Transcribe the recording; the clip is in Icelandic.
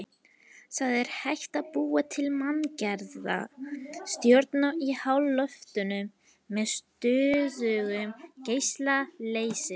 Það er hægt að búa til manngerða stjörnu í háloftunum með stöðugum geisla leysis.